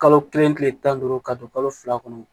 Kalo kelen kile tan ni duuru ka don kalo fila kɔnɔ